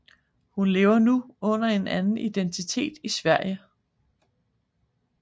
Hun lever nu under en anden identitet i Sverige